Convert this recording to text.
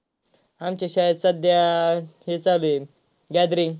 आमच्या शाळेत सध्या हे चालू आहे gathering.